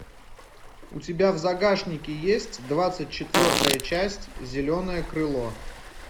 у тебя в загашнике есть двадцать четвертая часть зеленое крыло